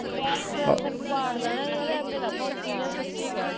ਸਿਰ ਪਾੜ ਦੇਣਾ ਯਾਰ ਆਵੇ ਨਾ ਭੋਂਕੀ ਜਾ ਸੱਚੀ ਕਹਿ ਤਾਂ